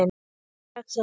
Komið þið strax aftur!